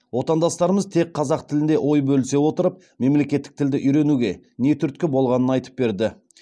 отандастарымыз тек қазақ тілінде ой бөлісе отырып мемлекеттік тілді үйренуге не түрткі болғанын айтып берді